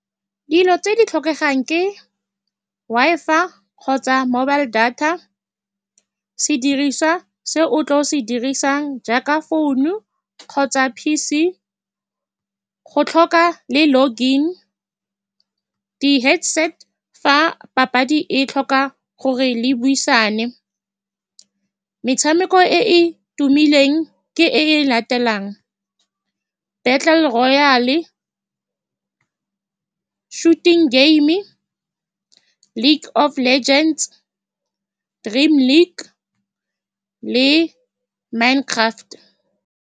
Dilo tse di tlhokegang ke Wi-Fi kgotsa mobile data, sediriswa se o tla se dirisang jaaka phone-nu kgotsa P_C, go tlhoka le login, di-headset-e fa papadi e tlhoka gore le buisane. Metshameko e e tumileng ke e e latelang, Battle Royal, Shooting Game, League Of Legends, Dream League le Mine Craft.